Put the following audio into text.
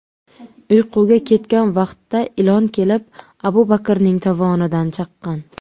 uyquga ketgan vaqtda ilon kelib, Abu Bakrning tovonidan chaqqan.